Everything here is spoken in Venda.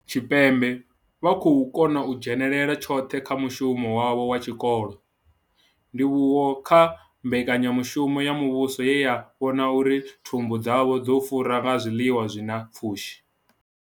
Tshipembe vha khou kona u dzhenela tshoṱhe kha mushumo wavho wa tshikolo, ndivhuwo kha mbekanya mushumo ya muvhuso ye ya vhona uri thumbu dzavho dzo fura nga zwiḽiwa zwi na pfushi.